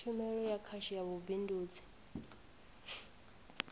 tshumelo ya khasho ya vhubindudzi